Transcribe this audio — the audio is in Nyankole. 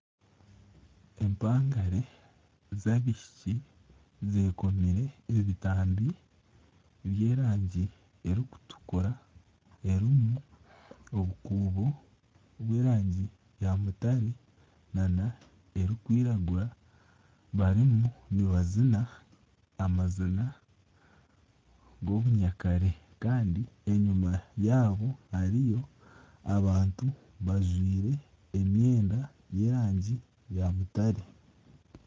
Empangare z'abishiki zekomire ebitambi by'erangi erikutukura erimu obukuubo by'erangi ya mutare n'erikwiragura barimu nibazina amazina g'obunyakare Kandi enyima yaabo hariyo abantu bajwire emwenda y'erangi ya mutare.